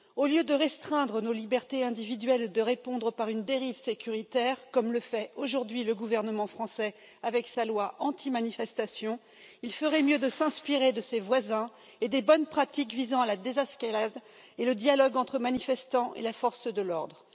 Au lieu de restreindre nos libertés individuelles et de répondre par une dérive sécuritaire, comme le fait aujourd'hui le gouvernement français avec sa loi anti manifestations, il ferait mieux de s'inspirer de ses voisins et des bonnes pratiques visant la désescalade et le dialogue entre les manifestants et les forces de l'ordre.